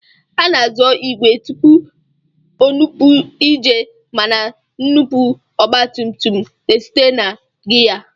A na-azọ ìgwè tupu o nupụ ije mana nnupụ ọgbatumtum na-esite na giya